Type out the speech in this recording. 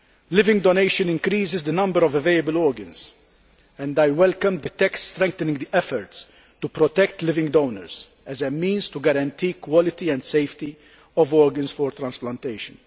Living donation increases the number of available organs and I welcome the text strengthening the efforts to protect living donors as a means to guarantee quality and safety of organs for transplantation.